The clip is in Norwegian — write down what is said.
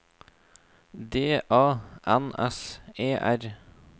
D A N S E R